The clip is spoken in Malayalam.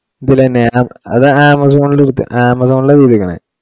ഇതിലെ നേഹ അത് amazon ഇല് കുത്തുക amazon ഇലാ വീഡിയോ ക്കണെ